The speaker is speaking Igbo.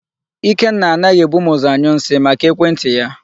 Ikenna anaghị ebu m ụzọ anyụ nsị, maka ekwentị ya.